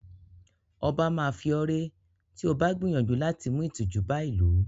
0̣ba máa fi ọ́ ré tí o bá gbìyànjú láti mú ìtìjú bá ìlú.